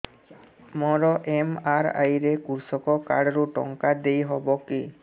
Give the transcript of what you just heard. ମୋର ଏମ.ଆର.ଆଇ ରେ କୃଷକ କାର୍ଡ ରୁ ଟଙ୍କା ଦେଇ ହବ କି